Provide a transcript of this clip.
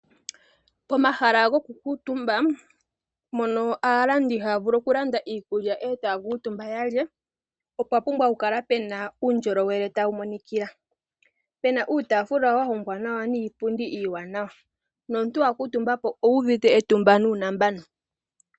Pomahala gokukutumba mono aalandi haya vulu okulanda iikulya e taya kuutumba ya lye opwa pumbwa okukala pu na uundjolowele tawu imonikila pu na uutafula wa hongwa nawa niipundi iiwanawa nomuntu wa kuutumbapo owu uvite etumba nuunambano.